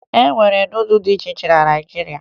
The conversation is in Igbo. E nwere nudụ dị iche iche na Naịjirịa